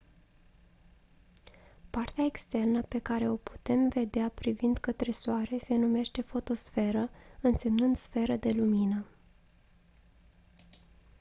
partea externă pe care o putem vedea privind către soare se numește fotosferă însemnând «sferă de lumină».